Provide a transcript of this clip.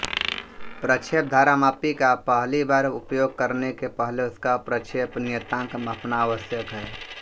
प्रक्षेप धारामापी का पहली बार उपयोग करने के पहले उसका प्रक्षेप नियतांक मापना आवश्यक है